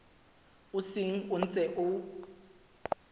o seng o ntse o